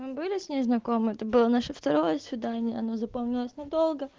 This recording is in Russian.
были с ней знакомы это было наше второе свидание она запомнилась надо